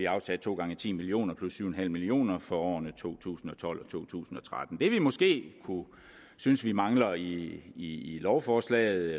afsat to gange ti million kroner plus syv en halv million kroner for årene to tusind og tolv og to tusind og tretten det vi måske synes vi mangler i lovforslaget